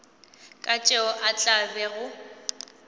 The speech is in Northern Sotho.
ka tšeo a tla bego